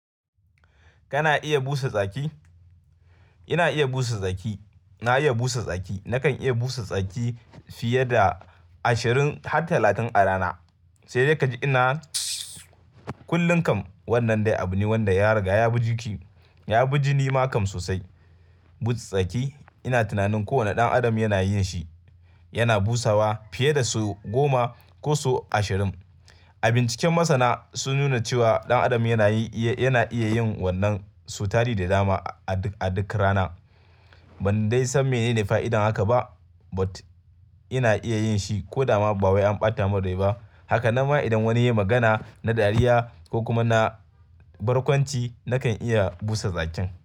Kana iya busa tsaki? Ina iya busa tsaki. Na iya busa tsaki. Nakan iya busa tsaki fiye da ashirin har talatin a rana. Sai dai ka ji ina kullum kam wannan dai abu ne wanda ya riga ya bi jiki, ya bi jini ma kam sosai. Buka tsaki ina tunanin kowane ɗan adam yana yin shi. Yana busawa fiye da sau goma ko sau ashirin. Abinciken masana sun nuna cewa ɗan adam yana yi iya, yana iya yin wannan sau tari da dama a duk, a duk rana. Ban dai san menene fa'idar haka ba, but ina iya yin shi ko dama ba wai an ɓata min rai ba. Haka na ma idan wani ya yi magana na dariya ko kuma na barkwanci, nakan iya busa tsakin.